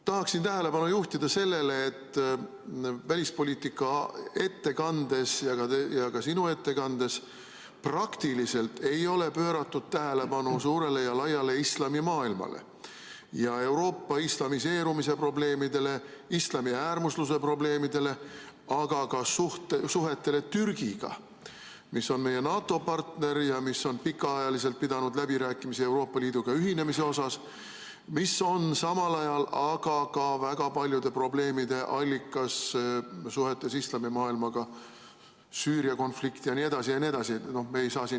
Tahaksin tähelepanu juhtida sellele, et välispoliitika ettekandes ja ka sinu ettekandes praktiliselt ei pööratud tähelepanu suurele ja laiale islamimaailmale ja Euroopa islamiseerumise probleemidele, islamiäärmusluse probleemidele, ega suhetele Türgiga, mis on meie NATO‑partner ja on pikaajaliselt pidanud läbirääkimisi Euroopa Liiduga ühinemise teemal, mis on samal ajal aga ka väga paljude probleemide allikas suhetes islamimaailmaga .